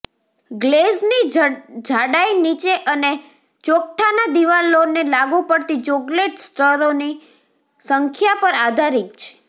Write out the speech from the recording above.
ગ્લેઝની જાડાઈ નીચે અને ચોકઠાના દિવાલોને લાગુ પડતી ચોકલેટ સ્તરોની સંખ્યા પર આધારિત છે